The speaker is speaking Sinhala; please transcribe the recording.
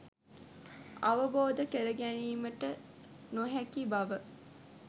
අවබෝධ කර ගැනීමට නොහැකි බව